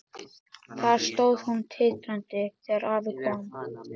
Þar stóð hún titrandi þegar afi kom.